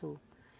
Sou.